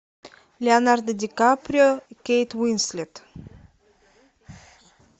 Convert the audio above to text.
леонардо ди каприо кейт уинслет